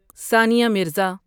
Sania Mirza